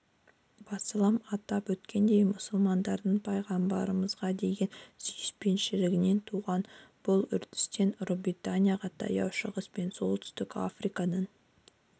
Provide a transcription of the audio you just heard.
басылым атап өткендей мұсылмандардың пайғамбарымызға деген сүйіспеншілігінен туған бұл үрдістен ұлыбританияға таяу шығыс пен солтүстік африкадан